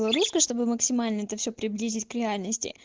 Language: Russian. чтобы максимально это все приблизить реально